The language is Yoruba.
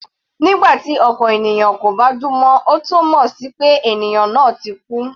Nígbà tí ọkàn ènìyàn kò bá dún mọ́, ó túmọ̀ sí pé ènìyàn náà ti kú.